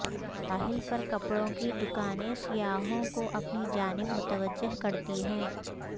ساحل پر کپڑوں کی دکانیں سیاحوں کو اپنی جانب متوجہ کرتی ہیں